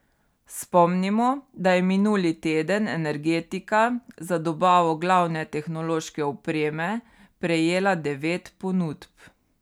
Spomnimo, da je minuli teden Energetika za dobavo glavne tehnološke opreme prejela devet ponudb.